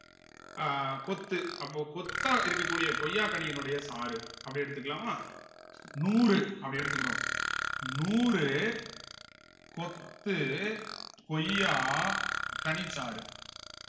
அஹ் கொத்து அப்போ கொத்தா இருக்கக்கூடிய கொய்யாக் கனியினுடைய சாறு அப்படி எடுத்துக்கலாமா நூறு அப்படி எடுத்துக்கிடுவோம் நூறு கொத்து கொய்யா கனிச்சாறு